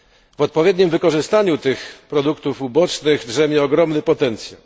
W odpowiednim wykorzystaniu tych produktów ubocznych drzemie ogromny potencjał.